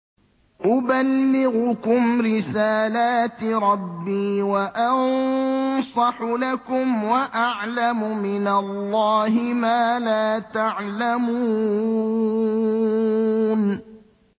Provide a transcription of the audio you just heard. أُبَلِّغُكُمْ رِسَالَاتِ رَبِّي وَأَنصَحُ لَكُمْ وَأَعْلَمُ مِنَ اللَّهِ مَا لَا تَعْلَمُونَ